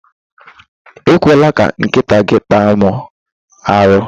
Ekwela ka nkịta gị taa mụ arụ!